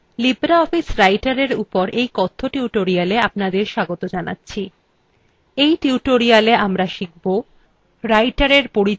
libreoffice writerin উপর কথ্য tutorialwe আপনাদের স্বাগত জানাচ্ছি in tutorialwe আমরা শিখব